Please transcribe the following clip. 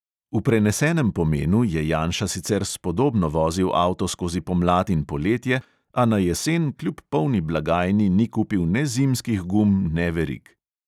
V prenesenem pomenu je janša sicer spodobno vozil avto skozi pomlad in poletje, a na jesen kljub polni blagajni ni kupil ne zimskih gum ne verig.